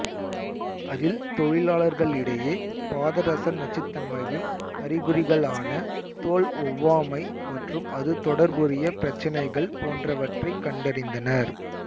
அதில் தொழிலாளர்களிடையே பாதரச நச்சுத்தன்மையின் அறிகுறிகளான தோல் ஒவ்வாமை மற்றும் அது தொடர்புடைய பிரச்சினைகள் போன்றவற்றைக் கண்டறிந்தனர்